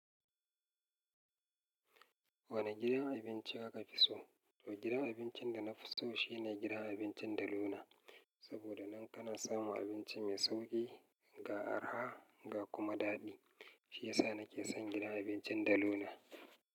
Wane gidan abinci kaka fi so? To gidan abincin da na fi so shine gidan abincin Deluna. Saboda nan kana samun abinci mai sauƙi, ga araha ga kuma daɗi. Shiyasa nake son gidan abincin Deluna.